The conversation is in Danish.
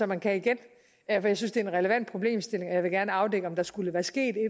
man kan igen at jeg synes det er en relevant problemstilling og jeg vil gerne afdække om der skulle være sket et